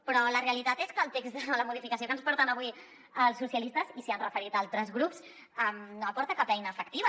però la realitat és que el text de la modificació que ens porten avui els socialistes i s’hi han referit altres grups no aporta cap eina efectiva